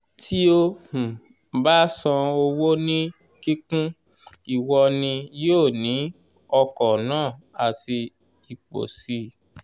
tí o um bá san owó ní kíkún ìwọ ni yóò ní ọkọ̀ náà àti ipò sì